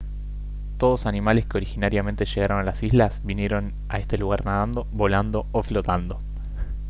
todos animales que originariamente llegaron a las islas vinieron a este lugar nadando volando o flotando